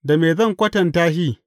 Da me zan kwatanta shi?